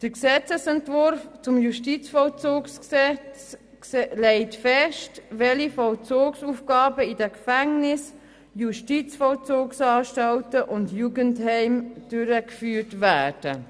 Der Gesetzesentwurf zum Justizvollzugsgesetz legt fest, welche Vollzugsaufgaben in den Gefängnissen, Justizvollzugsanstalten und Jugendheimen durchgeführt werden.